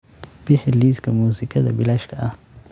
Bixi liiska muusikada bilaashka ah